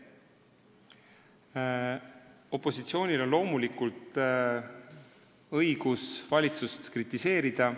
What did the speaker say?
Opositsioonil on loomulikult õigus valitsust kritiseerida.